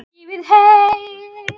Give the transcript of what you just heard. Þektuð þér Jónas minn?